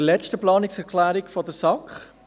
Ich komme zur letzten Planungserklärung der SAK.